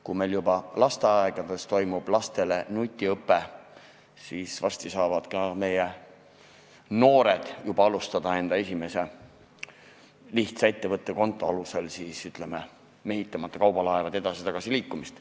Kui meil juba lasteaedades toimub lastele nutiõpe, siis varsti saavad meie noored juba alustada enda esimese lihtsa ettevõttekonto alusel, ütleme, mehitamata kaubalaevade edasi-tagasi liikumist.